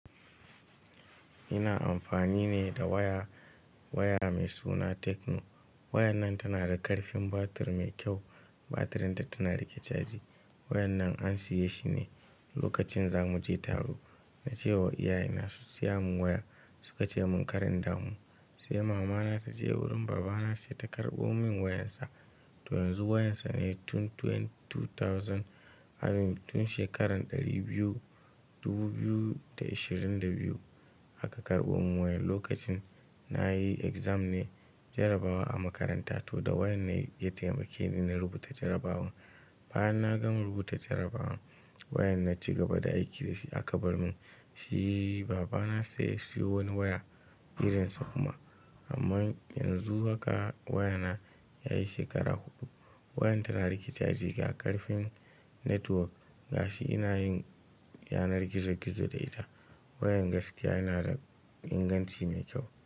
Ina amfani ne da waya, waya mai suna Techno. Wayan nan tana da ƙarfin batir mai kyau. Batirinta tana riƙe caji. Wayan nan an siye shi ne lokacin za muje taro. Na cewa iyaye na su siya mun waya. Suka ce mun kar indamu. Sai mama na ta je wurin baba na sai ta karɓo mun wayar sa. To yanzu wayan sa ne tun twenty-- two thousand and tun shekarar ɗari biyu, dubu biyu da ashirin da biyu. Aka karɓo mun wayan. Lokacin nayi exam ne, jarabawa a makaranta. To da wayan ne ya taimake ni na rubuta jarabawa. Bayan nagama rubuta jarabawan, wayan na ci gaba da aiki da shi aka bar mun. Shi baba na sai ya siyo wani waya irin sa kuma. Amma yanzu haka waya na yayi shekara huɗu. Wayan tana riƙe caji, ga ƙarfin network, gashi ina yin yanar gizo-gizo da ita. Wayan gaskiya yana da inganci mai kyau.